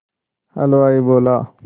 हलवाई बोला